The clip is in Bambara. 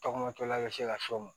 Tɔgɔmatɔla bɛ se ka s'o ma